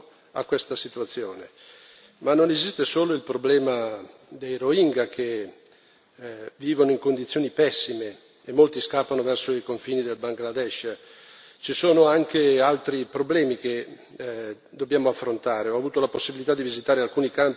Qui bisogna dare uno sbocco a questa situazione, ma non esiste solo il problema dei Rohingya, che vivono in condizioni pessime e molti scappano verso i confini del Bangladesh, ci sono anche altri problemi che dobbiamo affrontare.